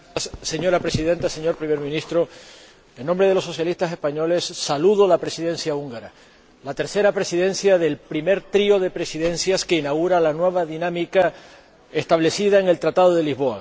Señora Presidenta, señor Primer Ministro, en nombre de los socialistas españoles, saludo a la Presidencia húngara, la tercera Presidencia del primer trío de presidencias que inaugura la nueva dinámica establecida en el Tratado de Lisboa.